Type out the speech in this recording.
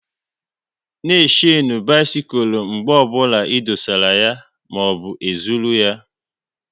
Na e shenu bisikul mgbe ọbụla e dosara ya maọbụ e zụrụ ya!